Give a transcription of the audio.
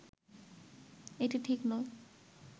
এটি ঠিক নয়